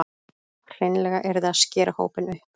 Hreinlega yrði að skera hópinn upp